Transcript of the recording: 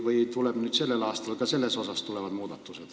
Või tuleb sellel aastal ka selles muudatusi?